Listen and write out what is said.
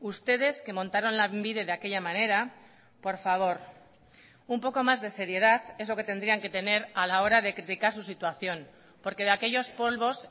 ustedes que montaron lanbide de aquella manera por favor un poco más de seriedad es lo que tendrían que tener a la hora de criticar su situación porque de aquellos polvos